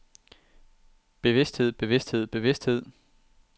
bevidsthed bevidsthed bevidsthed